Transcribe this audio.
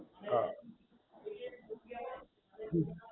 હા હમ